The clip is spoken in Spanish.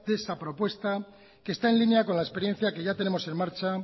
esa propuesta que está en línea con la experiencia que ya tenemos en marcha